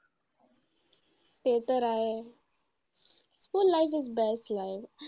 ते तर आहे. School life is best life.